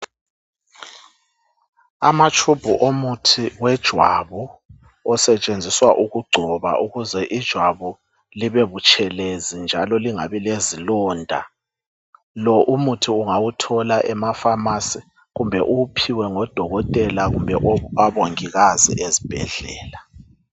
Amatshubhu omuthi wejwabu osetshenziswa ukugcoba ukuze ijwabu libebutshelezi njalo lingabi lezilonda lo umuthi ungawuthola emafamasi kumbe uwuphiwe ngodokotela kumbe ub abongikaz iezibhedlela.